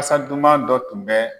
kasa duman dɔ tun bɛ.